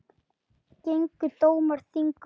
Gengu dómar þingum á.